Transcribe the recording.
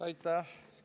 Aitäh!